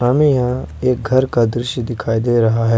हमे यहां एक घर का दृश्य दिखाई दे रहा है।